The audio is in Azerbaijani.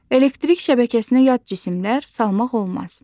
Elektrik şəbəkəsinə yad cisimlər salmaq olmaz.